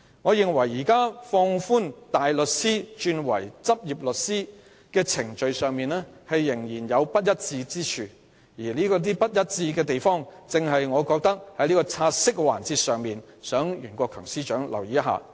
我認為現時放寬大律師轉任律師的程序上仍有不一致之處，我原本打算在"察悉議案"的辯論環節，向袁國強司長提出這一點。